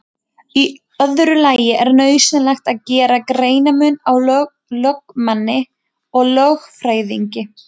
Í öðru lagi er nauðsynlegt að gera greinarmun á lögmanni og lögfræðingi.